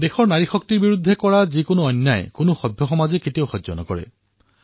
দেশৰ নাৰী শক্তিৰ বিৰুদ্ধে কোনো সভ্য সমাজে কোনো প্ৰকাৰৰ অন্যায় সহ্য নকৰে